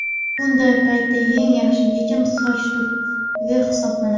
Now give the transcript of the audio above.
Bunday paytda eng yaxshi yechim – soch turmagi hisoblanadi.